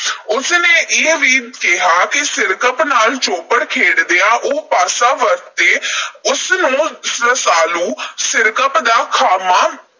ਉਸ ਨੇ ਇਹ ਵੀ ਕਿਹਾ ਕਿ ਸਿਰਕੱਪ ਨਾਲ ਚੌਪੜ ਖੇਡਦਿਆਂ ਉਹ ਪਾਸਾ ਵਰਤੇ। ਉਸਨੂੰ ਰਸਾਲੂ ਸਿਰਕੱਪ ਦਾ ਖ਼ਾਤਮਾ